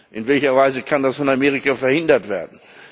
In welcher Weise kann das von Amerika verhindert werden?